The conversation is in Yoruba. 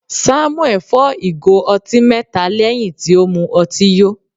Samuel fọ́ ìgò ọtí mẹta lẹ́hìn tí ó mu ọtí yó.